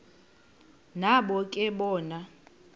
nabo ke bona